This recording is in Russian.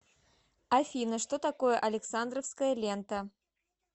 афина что такое александровская лента